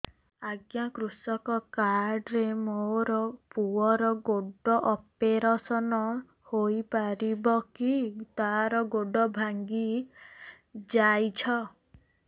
ଅଜ୍ଞା କୃଷକ କାର୍ଡ ରେ ମୋର ପୁଅର ଗୋଡ ଅପେରସନ ହୋଇପାରିବ କି ତାର ଗୋଡ ଭାଙ୍ଗି ଯାଇଛ